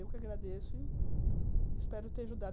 Eu que agradeço e espero ter ajudado.